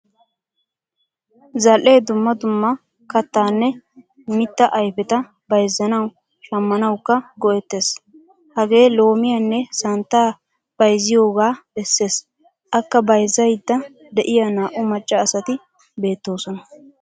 Zal"ee dumma dumma kattanne mitta ayfetta bayzzanawu; shammanawukka go"etees. Hagee loomiyaanne santta bayzziyoga besees. A kka bayzzayda deiya naa"u macca asati beetosona.